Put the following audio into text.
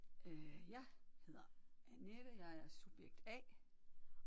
Øh jeg hedder Annette jeg er subjekt A